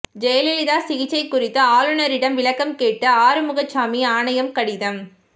ஜெயலலிதா சிகிச்சை குறித்து ஆளுநரிடம் விளக்கம் கேட்டு ஆறுமுகசாமி ஆணையம் கடிதம்